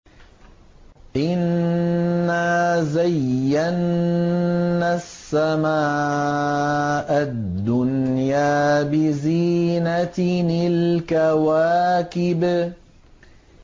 إِنَّا زَيَّنَّا السَّمَاءَ الدُّنْيَا بِزِينَةٍ الْكَوَاكِبِ